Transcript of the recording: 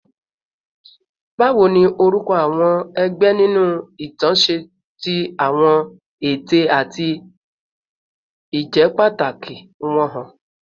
Báwo ni orúkọ àwọn ẹgbẹ́ nínú ìtàn ṣe fi àwọn ète àti ìjẹ́pàtàkì wọn hàn?